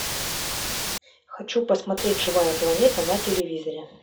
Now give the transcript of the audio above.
хочу посмотреть живая планета на телевизоре